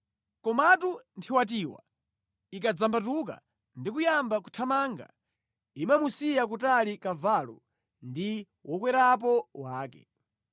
Komatu nthiwatiwa ikadzambatuka ndi kuyamba kuthamanga, imamusiya kutali kavalo ndi wokwerapo wake.